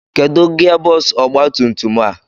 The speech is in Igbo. Kedụ gia bọksụ ọgbatumtum a?